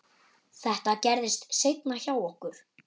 Þetta gerðist seinna hjá okkur.